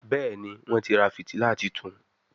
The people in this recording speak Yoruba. Béèni Wón tí rà fìtílà títún.